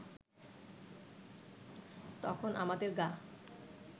তখন আমাদের গা